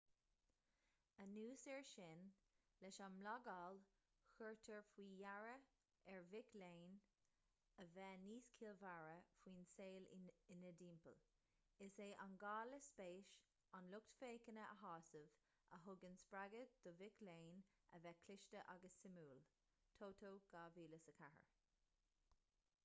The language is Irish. anuas air sin leis an mblagáil cuirtear faoi deara ar mhic léinn a bheith níos ciallmhaire faoin saol ina dtimpeall. is é an gá le spéis an lucht féachana a shásamh a thugann spreagadh do mhic léinn a bheith cliste agus suimiúil toto 2004